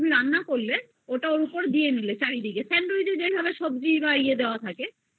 ওটা দিয়ে দিলে sandwich এ যেভাবে সবজি দেয়া থাকে আরেকটা bread